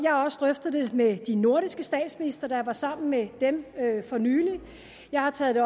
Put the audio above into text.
drøftet det med de nordiske statsministre da jeg var sammen med dem for nylig jeg har taget